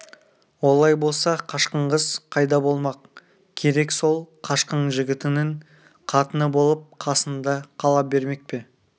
олай болса қашқын қыз қайда болмақ керек сол қашқын жігітінің қатыны болып қасында қала бермек пе